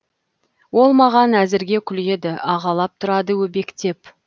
ол маған әзірге күледі ағалап тұрады өбектеп